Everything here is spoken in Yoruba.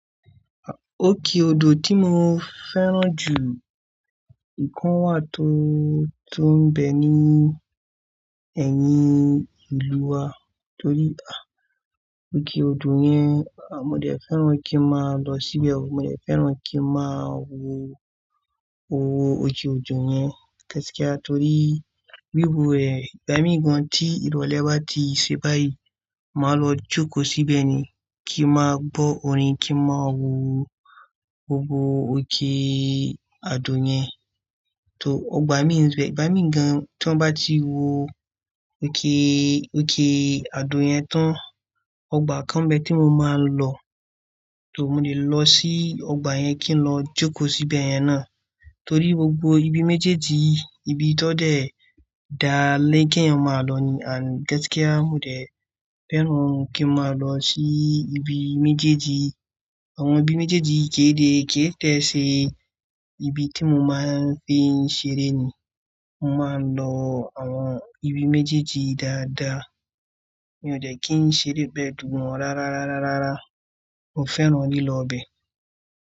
Òkè odò tí mo fẹ́ràn jù, ìkan wà tó, tó ń bẹ ní ẹ̀yìn ìlú wa. Torí, à, òkè odò yẹn, à, mo dẹ fẹ́ràn kí má lọ síbẹ̀. Mo dẹ fẹ́ràn kí n má wo gbogbo òkè odò yẹn, kẹ́tẹ́kẹ́tẹ́ torí bí mo rẹ̀, ìgbà míì gan tí ìrọ̀lẹ́ bá ti ṣe báyìí, màá lọ jókòó síbẹ̀ ni. Kí n má bọ́ orin, kí n má wo gbogbo òkè odò yẹn. Tó, ọgbà mí rẹ̀, ìgbà míì gan tí wọ́n bá ti wo òkè, òkè odò yẹn tán, ọgbà kan bẹ tí mo máa lọ. Tó, mo lè lọ sí ọgbà yẹn kí n lọ jókòó síbẹ̀ yẹn ná. Torí gbogbo ibi méjèèjì, ibi tọ́ dẹ̀ dáálẹ́ kí ẹ máa lọ ni, àń, kẹ́tẹ́kẹ́tẹ́ mo dẹ fẹ́ràn kí n má lọ sí ibi méjèèjì. Àwọn ibi méjèèjì kéré tó ṣe ibi tí mo máa ń fi ń ṣeré ni. Mo máa ń lọ àwọn ibi méjèèjì dáadáa. Mi ò dẹ kí ń ṣeré bẹ́ẹ̀ dùn mọ́ rárá, rárá, rárá. Mo fẹ́ràn lílọ bẹ́ẹ̀